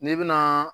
N'i bɛna